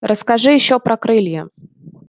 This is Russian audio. расскажи ещё про крылья